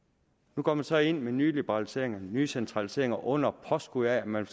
nu går man så ind med nye liberaliseringer nye centraliseringer under påskud af at man